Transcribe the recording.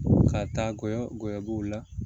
K'a taagɔ b'o la